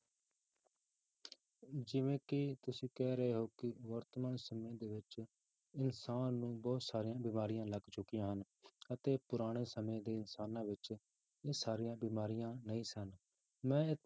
ਜਿਵੇਂ ਕਿ ਤੁਸੀਂ ਕਹਿ ਰਹੇ ਹੋ ਵਰਤਮਾਨ ਸਮੇਂ ਦੇ ਵਿੱਚ ਇਨਸਾਨ ਨੂੰ ਬਹੁਤ ਸਾਰੀਆਂ ਬਿਮਾਰੀਆਂ ਲੱਗ ਚੁੱਕੀਆਂ ਹਨ ਅਤੇ ਪੁਰਾਣੇ ਸਮੇਂ ਦੇ ਇਨਸਾਨਾਂ ਵਿੱਚ ਇਹ ਸਾਰੀਆਂ ਬਿਮਾਰੀਆਂ ਨਹੀਂ ਸਨ ਮੈਂ